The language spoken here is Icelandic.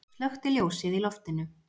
Slökkti ljósið í loftinu.